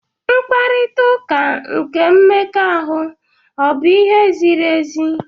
Mkparita ụka nke mmekọahụ ọ bụ ihe ziri ezi?